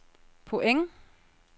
point